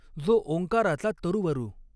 जो ॐकाराचा तरुवरु।